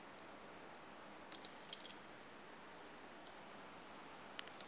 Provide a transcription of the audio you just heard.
tshi a fhambana u ya